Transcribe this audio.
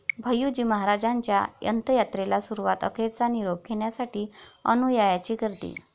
भैय्यूजी महाराजांच्या अंतयात्रेला सुरूवात, अखेरचा निरोप घेण्यासाठी अनुयायांची गर्दी